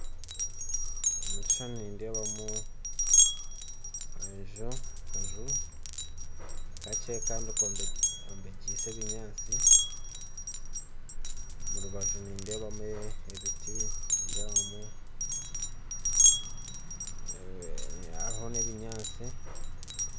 Omukishushani nindebamu enju enju, kakye kandi komekyise ebinyansi, omurubaju nindebamu ebiti, nindebamu hariho n'ebinyansi.